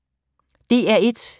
DR1